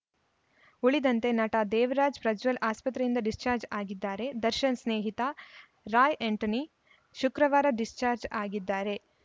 ಉಳಿದಂತೆ ನಟ ದೇವರಾಜ್‌ ಪ್ರಜ್ವಲ್‌ ಆಸ್ಪತ್ರೆಯಿಂದ ಡಿಸ್ಚಾಜ್‌ರ್ ಆಗಿದ್ದಾರೆ ದರ್ಶನ್‌ ಸ್ನೇಹಿತ ರಾಯ್‌ ಆಂಟೋನಿ ಶುಕ್ರವಾರ ಡಿಸ್ಚಾಜ್‌ರ್ ಆಗಿದ್ದಾರೆ